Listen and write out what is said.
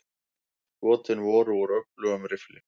Skotin voru úr öflugum riffli.